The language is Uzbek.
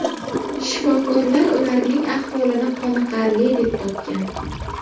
Shifokorlar ularning ahvolini qoniqarli deb topgan.